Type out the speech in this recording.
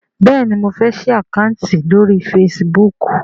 béèni mọ fè sí Àkáùntì lórí Facebook.